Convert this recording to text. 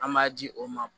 An b'a di o ma